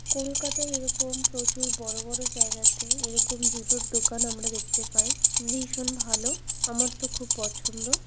কলকাতায় এরকম প্রচুর বড় বড় জায়গাতে এরকম জুতোর দোকান আমরা দেখতে পাই। ভীষণ ভালো। আমার তো খুব পছন্দ।